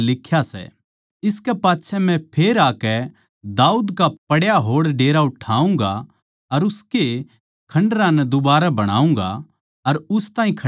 इसकै पाच्छै मै फेर आकै दाऊद का पड्या होड़ डेरा उठाऊँगा अर उसके खण्डरां नै दुबारा बणाऊँगा अर उस ताहीं खड्या करुँगा